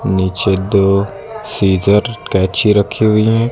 नीचे दो सीजर कैची रखी हुई है।